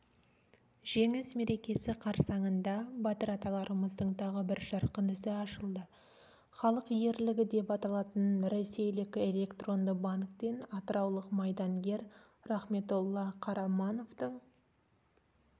жеңіс мерекесі қарсаңында батыр аталарымыздың тағы бір жарқын ісі ашылды халық ерлігі деп аталатын ресейлік электронды банктен атыраулық майдангер рахметолла қарамановтың